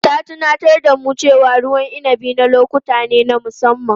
Ta tunatar da mu cewa ruwan inabi na lokuta ne na musamman.